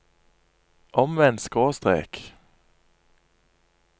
omvendt skråstrek